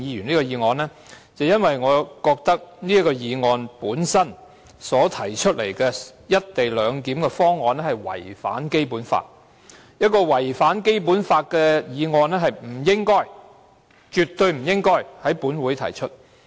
首先，我認為"一地兩檢"安排議案所提到的方案違反《基本法》，而一項違反《基本法》的議案絕對不應該在本會提出。